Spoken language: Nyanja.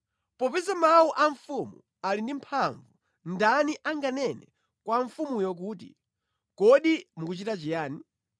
Popeza mawu a mfumu ali ndi mphamvu, ndani anganene kwa mfumuyo kuti, “Kodi mukuchita chiyani?”